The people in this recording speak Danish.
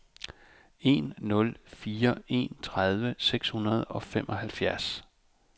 en nul fire en tredive seks hundrede og femoghalvfjerds